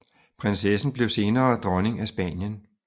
Prinsessen blev senere dronning af Spanien